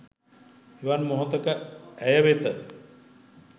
එවන් මොහොතක ඇය වෙත